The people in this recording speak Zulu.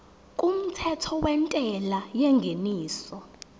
kumthetho wentela yengeniso